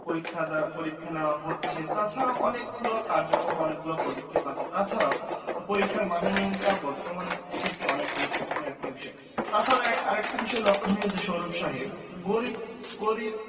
পরীক্ষা দ্বারা পরীক্ষা নেওয়া হচ্ছে তাছাড়াও অনেকগুলো কার্যক্রম অনেকগুলো পদক্ষেপ আছে। তাছাড়াও পরীক্ষার মান উন্নয়নটা বর্তমান হচ্ছে তো অনেক গুরুত্বপূর্ণ একটা বিষয়। তাছাড়াও এক আরেকটা বিষয় লক্ষণীয় যে সৌরভ সাহেব গরীব গরীব